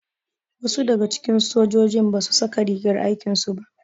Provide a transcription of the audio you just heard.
Wasu daga cikin sojojin basu saka rigar aikin su ba.